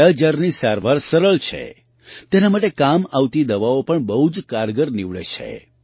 કાલાજારની સારવાર સરળ છે તેના માટે કામ આવતી દવાઓ પણ બહુ જ કારગર નિવડે છે